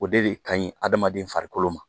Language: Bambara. O de ka ɲi hadamaden farikolo ma